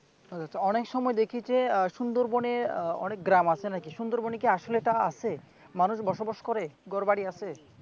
অনেক সময় দেখি যে আহ সুন্দরবনের আহ অনেক গ্রাম আছে নাকি সুন্দরবন এ আসলে এটা আছে মানুষ বসবাস করে ঘরবাড়ি আছে?